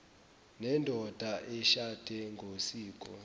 nendoda eshade ngosiko